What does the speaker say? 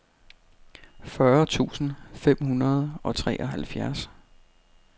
fyrre tusind fem hundrede og treoghalvfjerds